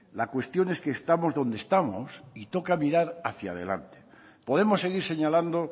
la cuestión es que estamos donde estamos y toca mirar hacia delante podemos seguir señalando